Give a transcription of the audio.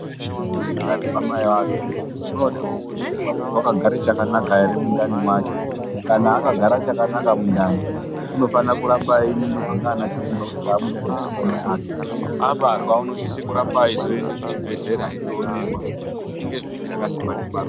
Mundu weshe uri mundani mamai ake unode kuonekwa kuti wakagare chakanaka ere mundani mwacho kana akagara chakanaka mundani unofana kuramba einingirwa nganachiremba kusvikira abuda mundani mwamai ake abarwa inosise kuramba eizoenda kuchibhedhlera eindoonekwa chiii ne chiii rakasikwa ndiMwari.